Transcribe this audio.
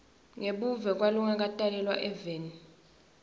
ngebuve kwalongakatalelwa eveni